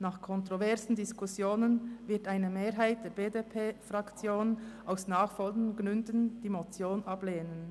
Nach kontroversen Diskussionen wird eine Mehrheit der BDP-Fraktion aus nachfolgenden Gründen die Motion ablehnen: